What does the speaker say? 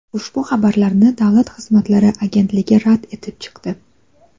Ushbu xabarlarni Davlat xizmatlari agentligi rad etib chiqdi.